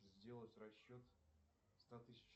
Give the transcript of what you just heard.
сделать расчет ста тысяч